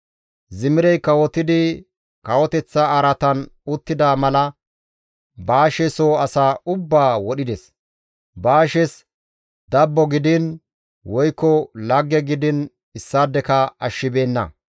Zimirey kawotidi kawoteththa araatan uttida mala Baashe soo asaa ubbaa wodhides. Baashes dabbo gidiin woykko lagge gidiin issaadeka ashshibeenna.